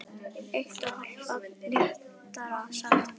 Eitt og hálft barn, réttara sagt.